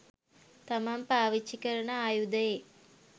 තමන් පාවිච්චි කරන ආයුධයේ